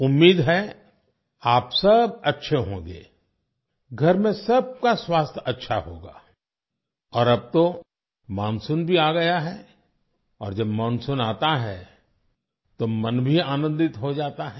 उम्मीद है आप सब अच्छे होंगे घर में सबका स्वास्थ्य अच्छा होगा और अब तो मानसून भी आ गया है और जब मानसून आता है तो मन भी आनंदित हो जाता है